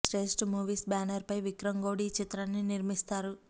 Shreshtha movies banner పై విక్రం గౌడ్ ఈ చిత్రాన్ని నిర్మిస్తారు